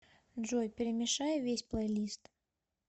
джой перемешай весь плейлист